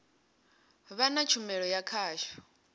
vha na tshumelo ya khasho